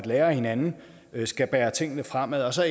lærer af hinanden det skal bære tingene fremad så er